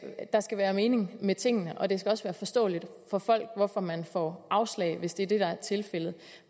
der skal være mening med tingene og det skal også være forståeligt for folk hvorfor man får afslag hvis det er det der er tilfældet